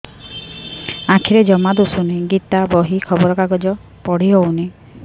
ଆଖିରେ ଜମା ଦୁଶୁନି ଗୀତା ବହି ଖବର କାଗଜ ପଢି ହଉନି